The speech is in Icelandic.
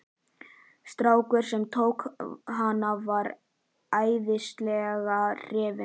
Strákurinn sem tók hana var æðislega hrifinn.